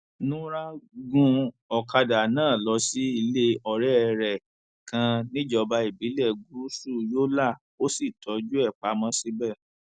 nura gun ọkadà náà lọ sí ilé ọrẹ rẹ kan níjọba ìbílẹ gúúsù yọlà ó sì tọjú ẹ pamọ síibẹ